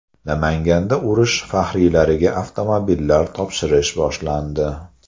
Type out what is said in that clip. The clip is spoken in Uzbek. Namanganda urush faxriylariga avtomobillar topshirish boshlandi.